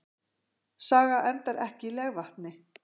Saga endar ekki í legvatni!